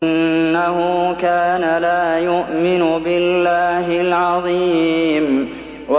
إِنَّهُ كَانَ لَا يُؤْمِنُ بِاللَّهِ الْعَظِيمِ